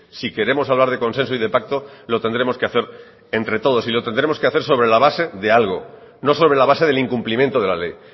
si queremos hablar de consenso y de pacto lo tendremos que hacer entre todos y lo tendremos que hacer sobre la base de algo no sobre la base del incumplimiento de la ley